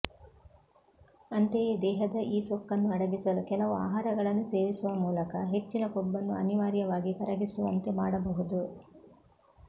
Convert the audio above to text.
ಅಂತೆಯೇ ದೇಹದ ಈ ಸೊಕ್ಕನ್ನು ಅಡಗಿಸಲು ಕೆಲವು ಆಹಾರಗಳನ್ನು ಸೇವಿಸುವ ಮೂಲಕ ಹೆಚ್ಚಿನ ಕೊಬ್ಬನ್ನು ಅನಿವಾರ್ಯವಾಗಿ ಕರಗಿಸುವಂತೆ ಮಾಡಬಹುದು